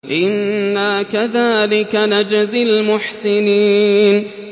إِنَّا كَذَٰلِكَ نَجْزِي الْمُحْسِنِينَ